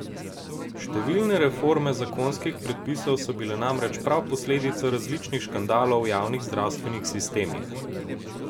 Številne reforme zakonskih predpisov so bile namreč prav posledica različnih škandalov v javnih zdravstvenih sistemih.